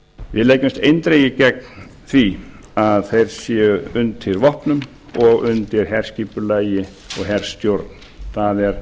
við leggjumst eindregið gegn því að þeir séu undir vopnum og undir herskipulagi og herstjórn það er